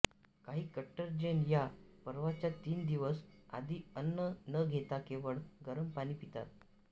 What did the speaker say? काही कट्टर जैन या पर्वाच्या तीन दिवस आधी अन्न न घेता केवळ गरम पाणी पितात